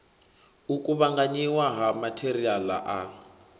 u kuvhanganyiwa ha matheriala a